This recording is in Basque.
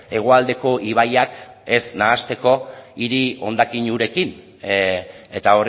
hegoaldeko ibaiak ez nahasteko hiri hondakin urekin eta